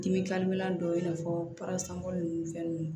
Dimi dɔ i n'a fɔ nun fɛn nunnu